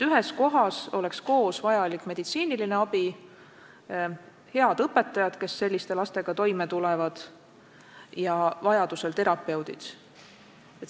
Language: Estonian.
Ühes kohas oleks koos vajalik meditsiiniline abi, head õpetajad, kes selliste lastega toime tulevad, ja vajadusel ka terapeudid.